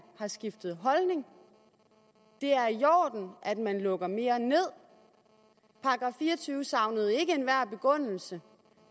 har skiftet holdning det er i orden at man lukker mere ned § fire og tyve savnede ikke enhver begrundelse